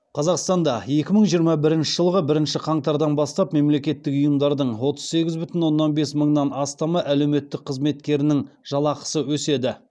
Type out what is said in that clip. қазақстанда екі мың жиырма бірінші жылғы бірінші қаңтардан бастап мемлекеттік ұйымдардың отыз сегіз бүтін оннан бес мыңнан астамы әлеуметтік қызметкерінің жалақысы өседі